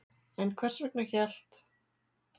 En hvers vegna hélt